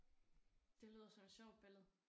Det lyder som et sjovt billede